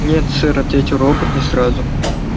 нет сэр ответил робот не сразу